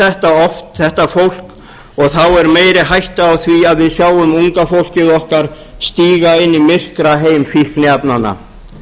þetta oft þetta fólk og þá er meiri hætta á því að við sjáum unga fólkið okkar stíga inn í myrkraheim fíkniefnanna